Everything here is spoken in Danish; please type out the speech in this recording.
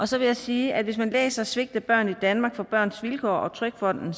så vil jeg sige at hvis man læser svigt af børn i danmark fra børns vilkår og trygfonden